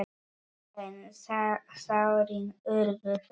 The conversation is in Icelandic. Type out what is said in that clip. En sárin urðu fleiri.